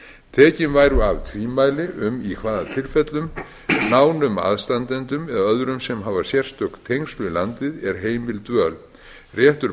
tekin væru af tvímæli um í hvaða tilfellum nánum aðstandendum eða öðrum sem hafa sérstök tengsl við landið er heimil dvöl réttur